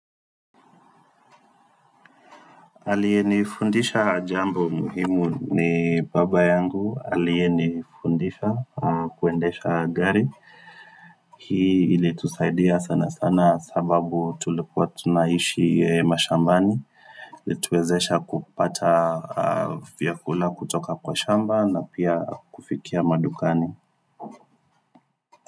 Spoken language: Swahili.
Aliyenifundisha jambo muhimu ni baba yangu, aliyenifundisha kuendesha gari Hii ilitusaidia sana sana sababu tulikuwa tunaishi mashambani, ilituwezesha kupata vyakula kutoka kwa shamba na pia kufikia madukani.